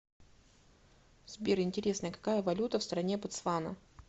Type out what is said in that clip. сбер интересно какая валюта в стране ботсвана